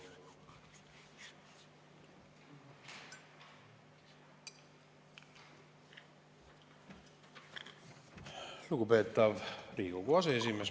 Lugupeetav Riigikogu aseesimees!